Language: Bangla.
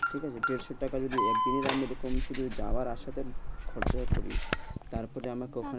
ঠিক আছে। দেড়শো টাকা যদি একদিনে পেতাম শুধু যাওয়া আর আসাটা খরচা করিয়ে যেত, তারপর আমাকে ওখানে